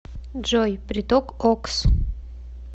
джой приток окс